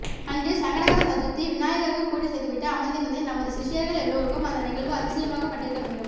அன்று சங்கடகர சதுர்த்திதி விநாயகருக்கு பூஜை செய்துவிட்டு அமர்ந்திருந்தேன் நமது சிஷ்யர்கள் எல்லோருக்கும் அந்த நிகழ்வு அதிசயமாகப் பட்டிருக்க வேண்டும்